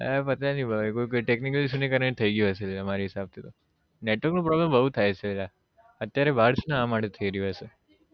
હા પતા નહિ ભાઈ કોઈ technical issue ને કારણે જ થઇ ગયું હશે મારા હિસાબ થી તો network નો Problem બઉ થાય છે યાર અત્યારે બાર છું ને તો એના માટે થઇ રહ્યું હશે